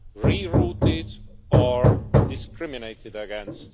rerouted or discriminated against.